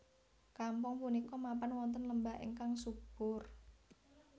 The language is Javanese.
Kampung punika mapan wonten lembah ingkang subur